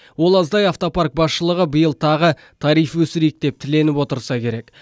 ол аздай автопарк басшылығы биыл тағы тариф өсірейік деп тіленіп отырса керек